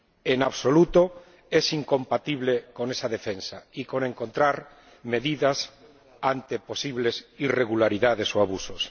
En absoluto es incompatible con esa defensa, ni con encontrar medidas ante posibles irregularidades o abusos.